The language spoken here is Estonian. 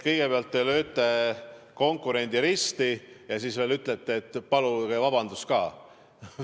Kõigepealt lööte te konkurendi risti ja siis veel ütlete, et paluge vabandust ka.